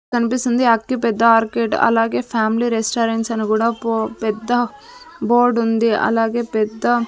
కనిపిస్తుంది ఆక్టివ్ పెద్ద ఆర్కేట్ అలాగే ఫ్యామిలీ రెస్టారెంట్స్ అని కూడా పో పెద్ద బోర్డ్ ఉంది అలాగే పెద్ద.